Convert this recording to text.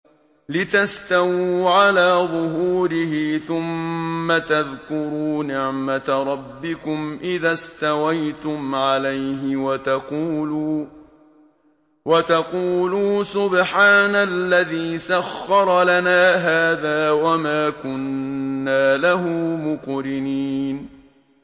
لِتَسْتَوُوا عَلَىٰ ظُهُورِهِ ثُمَّ تَذْكُرُوا نِعْمَةَ رَبِّكُمْ إِذَا اسْتَوَيْتُمْ عَلَيْهِ وَتَقُولُوا سُبْحَانَ الَّذِي سَخَّرَ لَنَا هَٰذَا وَمَا كُنَّا لَهُ مُقْرِنِينَ